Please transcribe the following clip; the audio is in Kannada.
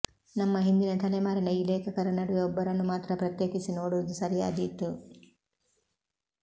ನಮ್ಮ ಹಿಂದಿನ ತಲೆಮಾರಿನ ಈ ಲೇಖಕರ ನಡುವೆ ಒಬ್ಬರನ್ನು ಮಾತ್ರ ಪ್ರತ್ಯೇಕಿಸಿ ನೋಡುವುದು ಸರಿಯಾದೀತು